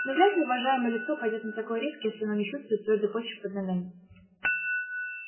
ну вряд ли уважаемое лицо пойдёт на такой риск если оно не чувствует твёрдой почвы под ногами